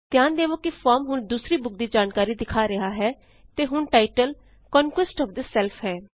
ਧਿਆਨ ਦੇਵੋ ਕਿ ਫੋਰਮ ਹੁਣ ਦੂਸਰੀ ਬੁਕ ਦੀ ਜਾਣਕਾਰੀ ਦਿਖਾ ਰਿਹਾ ਹੈ ਅਤੇ ਹੁਣ ਟਾਇਟਲ ਕੰਕੁਐਸਟ ਓਐਫ ਸੈਲਫ ਹੈ